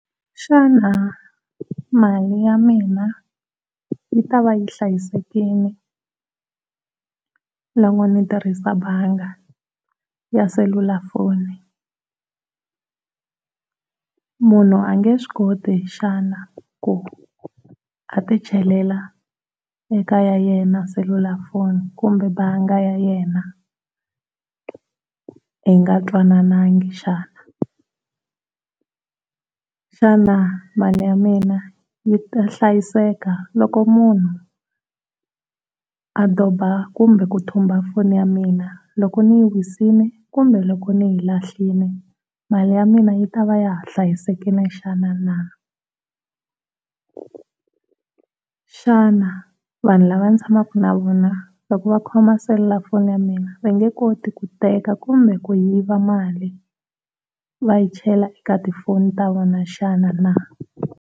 Xana mali ya mina yi tava yi hlayisekile loko ni tirhisa banga ya selulafoni? Munhu a nge swi koti xana ku a ti chelela eka ya yena selulafoni kumbe banga ya yena hi nga twanananga xana? Xana mali ya mina yi ta hlayiseka loko munhu a doba kumbe ku thumba foni ya mina loko ni yi wisile kumbe loko ni yi lahlile mali ya mina yi ta va ya ha hlayisekile xana na? Xana vanhu lava ni tshamaka na vona loko va khoma selulafoni ya mina va nge koti ku teka kumba ku yiva mali va yi chela eka tifoni na tova xana na?